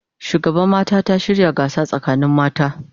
Shugaban mata ta shirya gasa sakanin mata